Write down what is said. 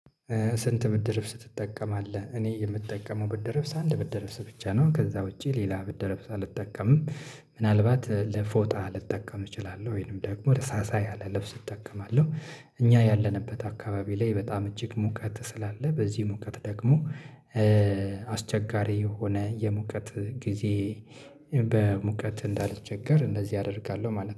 ስንት ብርድ ልብስ ትጠቀማለህ? እኔ የምጠቀመው ብድር ልብስ አንድ ብርድ ልብስ ብቻ ነው ከዛ ውጪ ሌላ ብርድ ልብስ አልጠቀምም ምናልባት ለፎጣ ልጠቀም እችላለሁ ወይንም ደግሞ ሳሳ ያለ ልብስ እጠቀማለሁ እኛ ያለንበት አካባቢ ላይ በጣም እጅግ ሙቀት ስላለ በዚህ ሙቀት ደግሞ አስቸጋሪ የሆነ የሙቀት ጊዜ በሙቀት እንዳልቸገር እንደዚህ አደርጋለሁ ማለት ነው